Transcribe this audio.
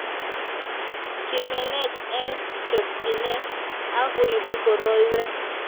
kimenech eng' chokchine akuibu koroiwek